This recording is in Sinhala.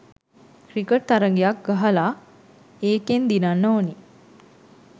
ක්‍රිකට් තරගයක් ගහලා ඒකෙන් දිනින්න ඕනි.